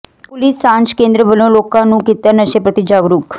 police ਸਾਂਝ ਕੇਂਦਰ ਵਲੋਂ ਲੋਕਾਂ ਨੰੂ ਕੀਤਾ ਨਸ਼ੇ ਪ੍ਰਤੀ ਜਾਗਰੂਕ